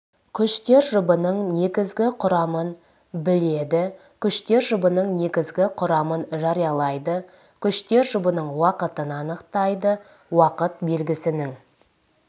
күштер жұбының негізгі құрамын біледі күштер жұбының негізгі құрамын жариялайды күштер жұбының уақытын анықтайды уақыт белгісінің